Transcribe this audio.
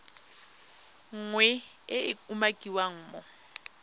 nngwe e e umakiwang mo